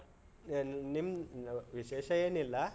ಏನು ನಿಮ್ದು ವಿಶೇಷ ಏನೀಲ್ಲ.